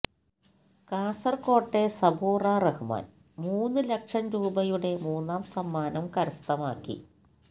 കാസർകോട്ടെ സബൂറ റഹ്മാൻ മൂന്നം ലക്ഷം രൂപയുടെ മൂന്നാം സമ്മാനം കരസ്ഥമാക്കി